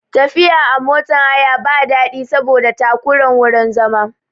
Tafiya a motan haya ba daɗi saboda takuran wurin zama